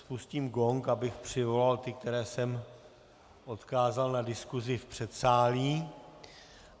Spustím gong, abych přivolal ty, které jsem odkázal na diskusi v předsálí.